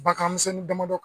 Bakan misɛnnin damadɔ